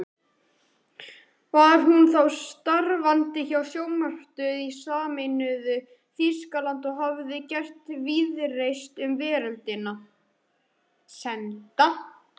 Var hún þá starfandi hjá sjónvarpsstöð í sameinuðu Þýskalandi og hafði gert víðreist um veröldina.